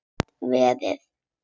Gat verið!